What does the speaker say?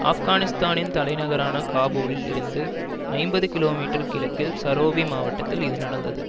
ஆப்கானிஸ்தானத்தின் தலைநகரான காபூலில் இருந்து ஐம்பது கிலோமீட்டர் கிழக்கில் சரோபி மாவட்டத்தில் இது நடந்தது